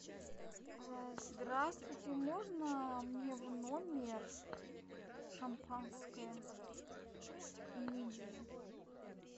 здравствуйте можно мне в номер шампанское и мидии